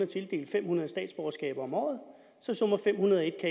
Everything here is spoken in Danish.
tildele fem hundrede statsborgerskaber om året så nummer fem hundrede